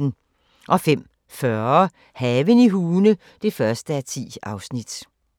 05:40: Haven i Hune (1:10)